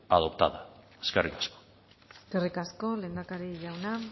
adoptada eskerrik asko eskerrik asko lehendakari jauna